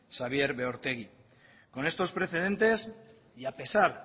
xabier beortegi con estos precedentes y a pesar